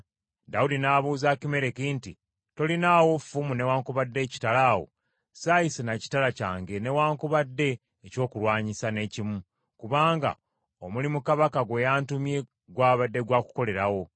Dawudi n’abuuza Akimereki nti, “Tolinaawo ffumu newaakubadde ekitala awo? Ssaayise na kitala kyange newaakubadde ekyokulwanyisa n’ekimu, kubanga omulimu kabaka gwe yantumye gwabadde gwa kukolerawo.”